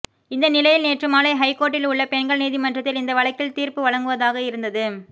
இந்த நிலையில் நேற்று மாலை ஐகோர்ட்டில் உள்ள பெண்கள் நீதிமன்றத்தில் இந்த வழக்கில் தீர்ப்பு வழங்குவதாக இருந்தது